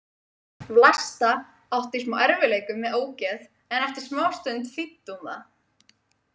Vlasta átti í smá erfiðleikum með ógeð en eftir smástund þýddi hún það.